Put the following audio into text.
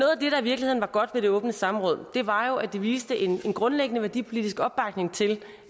i virkeligheden var godt ved det åbne samråd var jo at det viste en grundlæggende værdipolitisk opbakning til